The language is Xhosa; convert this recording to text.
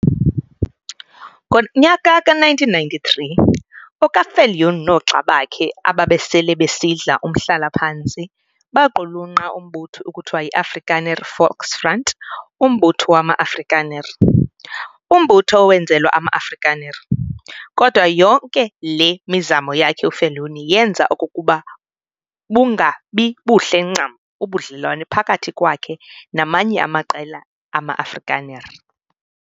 Ngonyaka ka-1993 oka-Viljoen noogxa bakhe ababesele besidla umhlala-phantsi baqhulunqa umbutho ekuthiwa yi-Afrikaner Volksfront Umbutho wama-Afrikaner, umbutho owenzelwa ama-Afrikaner. Kodwa yonke le mizamo yakhe uViljoen yenza okokuba bungabibuhle ncam ubudlelwane phakathi kwakhe namanye amaqela ama-Afrikaner.